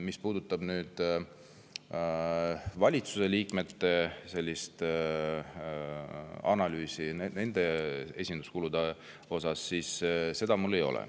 Mis puudutab valitsuse liikmete esinduskulude analüüsi, siis seda mul ei ole.